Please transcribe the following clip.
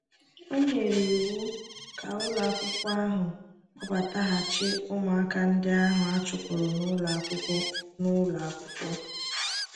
O nyere iwu ka ụlọakwụkwọ ahụ kpọbataghachi ụmụaka ndị ahụ a chụpụrụ n’ụlọ akwụkwọ n’ụlọ akwụkwọ.